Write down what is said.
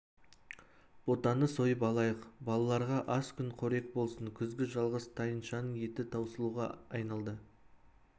ботаны сойып алайық балаларға аз күн қорек болсын күзгі жалғыз тайыншаның еті таусылуға айналды